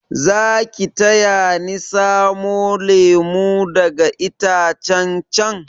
Zaki taya ni samo lemu daga itacen chan?